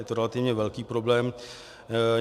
Je to relativně velký problém.